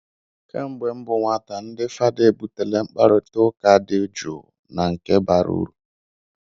Kemgbe m bụ nwata, ndị fada ebutela mkparịta ụka dị jụụ na nke bara uru.